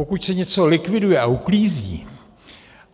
Pokud se něco likviduje a uklízí